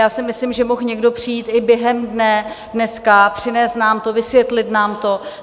Já si myslím, že mohl někdo přijít i během dne dneska, přinést nám to, vysvětlit nám to.